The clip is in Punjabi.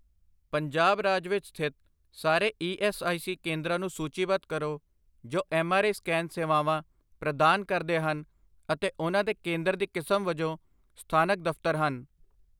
ਪੰਜਾਬ ਰਾਜ ਵਿੱਚ ਸਥਿਤ ਸਾਰੇ ਈ ਐੱਸ ਆਈ ਸੀ ਕੇਂਦਰਾਂ ਨੂੰ ਸੂਚੀਬੱਧ ਕਰੋ ਜੋ ਐਮਆਰਆਈ ਸਕੈਨ ਸੇਵਾਵਾਂ ਪ੍ਰਦਾਨ ਕਰਦੇ ਹਨ ਅਤੇ ਉਹਨਾਂ ਦੇ ਕੇਂਦਰ ਦੀ ਕਿਸਮ ਵਜੋਂ ਸਥਾਨਕ ਦਫਤਰ ਹਨ।